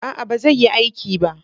A'a, ba zai yi aiki ba